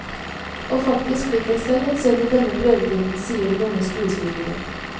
Og faktisk fikk jeg selv en sønn i denne prøvetiden, sier den unge skuespilleren.